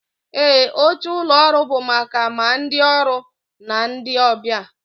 Ee, oche ụlọ ọrụ bụ maka ma ndị ọrụ na ndị ọbịa